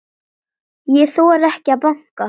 Ég þori ekki að banka.